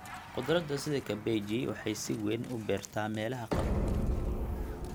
Khudradda sida kabeji waxay si weyn u beertaa meelaha qabow.